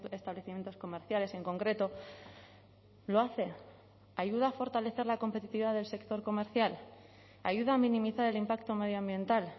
establecimientos comerciales en concreto lo hace ayuda a fortalecer la competitividad del sector comercial ayuda a minimizar el impacto medioambiental